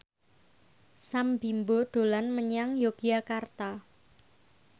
Sam Bimbo dolan menyang Yogyakarta